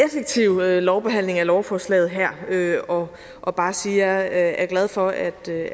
effektive lovbehandling af lovforslaget her og og bare sige at jeg er glad for at have